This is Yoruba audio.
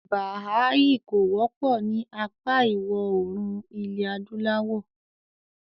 “Bàhàáhì” kò wọ́pọ̀ ní apá ìwọ̀òrùn ilẹ̀-adúláwọ̀.